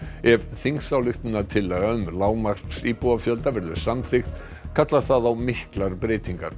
ef þingsályktunartillaga um lágmarksíbúafjölda verður samþykkt kallar það á miklar breytingar